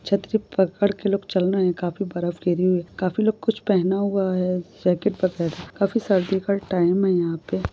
छतरी पकड़ क लोग चल रहे है काफ़ी बर्फ गिरी हुई है काफ़ी लोग कुछ पेहन हुआ है जैकेट वगेर है काफी सर्दी का टाइम है यहाँ पे।